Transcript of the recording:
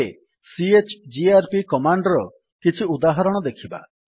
ଏବେ CHGRP command ର କିଛି ଉଦାହରଣ ଦେଖିବା